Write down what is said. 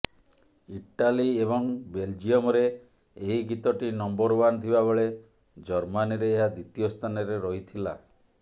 Italy ଏବଂ ବେଲଜିୟମ୍ରେ ଏହି ଗୀତଟି ନମ୍ବର ଓ୍ବାନ୍ ଥିବାବେଳେ ଜର୍ମାନୀରେ ଏହା ଦ୍ୱିତୀୟ ସ୍ଥାନରେ ରହିଥିଲା